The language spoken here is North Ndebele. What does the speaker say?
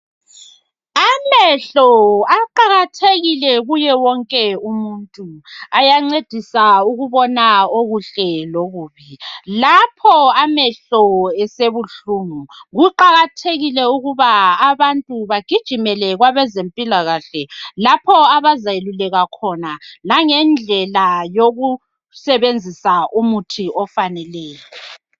Amehlo aqakathekile kuye wonke umuntu .Ayancedisa ukubona okuhle lokubi .Lapho amehlo esebuhlungu .Kuqakathekile ukuba abantu bagijimele kwabezempilakahle lapho abazayelulekwa khona langendlela yokusebenzisa umuthi ofaneleyo.